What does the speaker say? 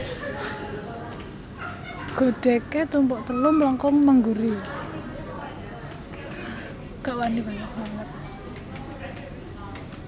Godhègé tumpuk telu mlengkung mengguri